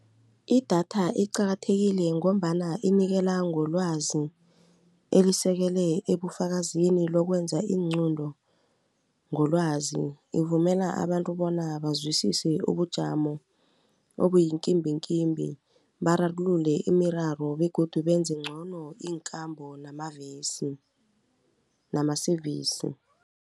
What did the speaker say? Idatha iqakathekile ngombana inikela ngolwazi elisekele ebufakazini lokwenza iinqunto ngolwazi. Ivumela abantu bona bazwisise ubujamo obuyinkimbikimbi bararululele imiraro begodu benze ngcono iinkambo namavesi nama-service.